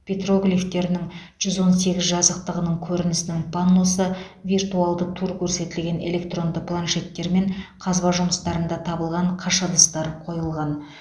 петроглифтерінің жүз он сегіз жазықтығының көрінісінің панносы виртуалды тур көрсетілген электронды планшеттер мен қазба жұмыстарында табылған қыш ыдыстар қойылған